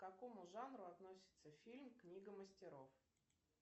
к какому жанру относится фильм книга мастеров